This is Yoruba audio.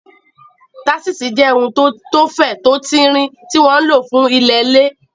Táṣíṣì jẹ́ ohun tó fẹ̀, tó tin rin, tí wọ́n ń lò fún ilẹ̀ lẹ̀